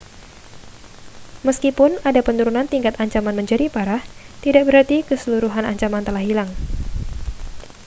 meskipun ada penurunan tingkat ancaman menjadi parah tidak berarti keseluruhan ancaman telah hilang